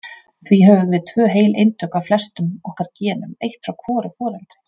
Því höfum við tvö heil eintök af flestum okkar genum- eitt frá hvoru foreldri.